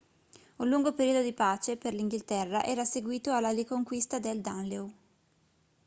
un lungo periodo di pace per l'inghilterra era seguito alla riconquista del danelaw